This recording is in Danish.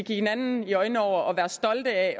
hinanden i øjnene over og være stolte af